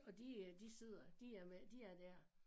Og de øh de sidder de er med de er dér